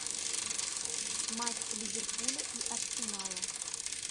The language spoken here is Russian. матч ливерпуля и арсенала